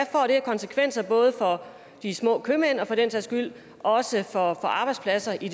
konsekvenser for de små købmænd og for den sags skyld også for arbejdspladserne i